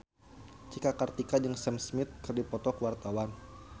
Cika Kartika jeung Sam Smith keur dipoto ku wartawan